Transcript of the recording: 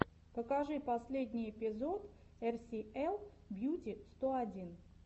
покажи последний эпизод эр си эл бьюти сто один